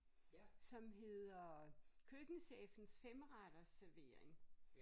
Som hedder køkkenchefens femretters servering